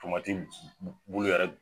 Famati bu yɛrɛ